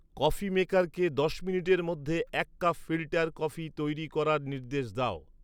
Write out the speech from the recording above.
coffee মেকারকে দশ মিনিটের মধ্যে এক কাপ ফিল্টার কফি তৈরি করার নির্দেশ দাও